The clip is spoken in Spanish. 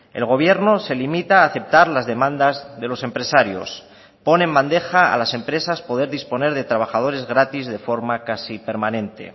el gobierno se limita a aceptar las demandas de los empresarios pone en bandeja a las empresas poder disponer de trabajadores gratis de forma casi permanente